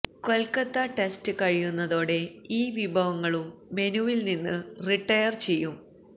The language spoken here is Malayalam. കൊല്ക്കത്ത ടെസ്റ്റ് കഴിയുന്നതോടെ ഈ വിഭവങ്ങളും മെനുവില് നിന്ന് റിട്ടയര് ചെയ്യും